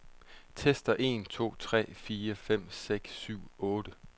Tester en to tre fire fem seks syv otte.